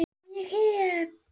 Ég hef.